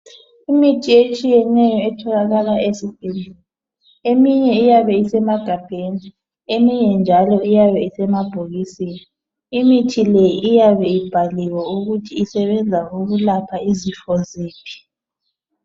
Imithi etshiyeneyo etholakakala esibhedlela. Eminye iyabe isemagabheni. Eminye njalo iyabe isemabhokisini. Imithi leyi iyabe ibhaliwe ukuthi isebenza ukulapha izifo ziphi.